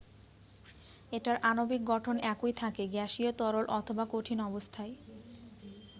এটার আণবিক গঠন একই থাকে গ্যাসীয় তরল অথবা কঠিন অবস্থায়